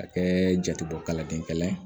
Ka kɛ jatebɔ kalanden kalan ye